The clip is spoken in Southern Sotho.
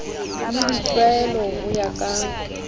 le ditlwaelo ho ya ka